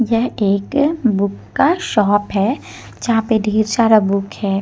यह एक बुक का शॉप है यहां पे ढेर सारा बुक है।